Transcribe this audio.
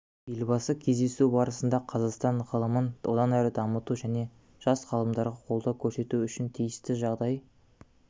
елбасы кездесу барысында қазақстан ғылымын одан әрі дамыту және жас ғалымдарға қолдау көрсету үшін тиісті жағдай